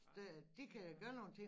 Nej det har jeg ikke